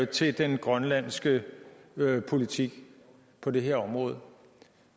til den grønlandske politik på det her område